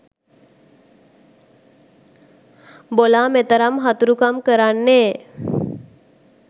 බොලා මෙතරම් හතුරුකම් කරන්නේ